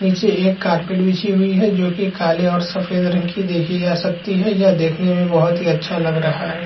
नीचे एक कार्पेट बिछी हुई है जो की काले और सफ़ेद रंग की देखी जा सकती है यह देखने में बहोत ही अच्छा लग रहा है।